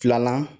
Filanan